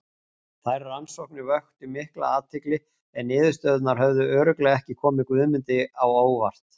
Þær rannsóknir vöktu mikla athygli en niðurstöðurnar hefðu örugglega ekki komið Guðmundi á óvart.